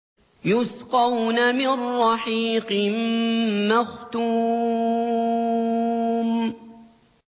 يُسْقَوْنَ مِن رَّحِيقٍ مَّخْتُومٍ